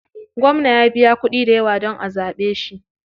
Gwamna ya biya kuɗi dayawa dan a zaɓe shi.